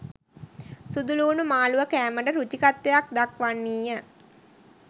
සුදුලූණු මාළුව කෑමට රුචිකත්වයක් දක්වන්නීය